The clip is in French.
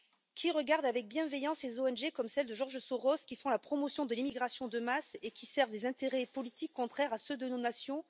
Qui regarde avec bienveillance les ONG, comme celle de George Soros, qui font la promotion de l'immigration de masse et servent les intérêts politiques contraires à ceux de nos nations?